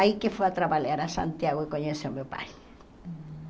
Aí que foi a trabalhar a Santiago e conheceu o meu pai.